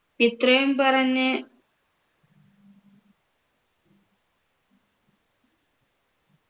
ഇത്രയും പറഞ്ഞ്